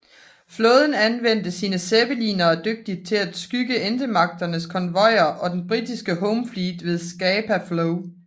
Flåden anvendte sine zeppelinere dygtigt til at skygge Ententemagternes konvojer og den britiske Home Fleet ved Scapa Flow